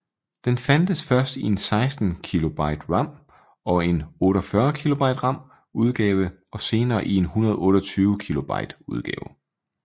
Den fandtes først i en 16Kb RAM og en 48Kb RAM udgave og senere i en 128Kb udgave